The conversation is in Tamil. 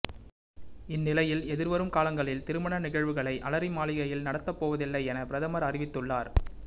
இந்நிலையில் எதிர்வரும் காலங்களில் திருமண நிகழ்வுகளை அலரிமாளிகையில் நடத்தப்போவதில்லை என பிரதமர் அறிவித்துள்ளார்